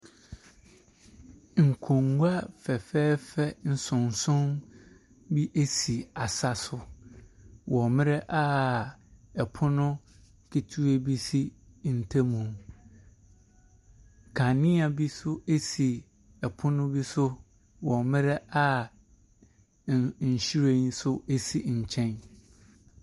Ɛfdan a nnua ayɛ na nnua no abubu agu fam. Na ne nkyɛn no yɛ ɛdan bi nso a ɛyɛ fitaa. Nnua bi sisi beaeɛ hɔ.